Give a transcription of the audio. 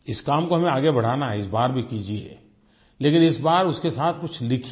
इस काम को हमें आगे बढ़ाना है इस बार भी कीजिये लेकिन इस बार उसके साथ कुछ लिखिए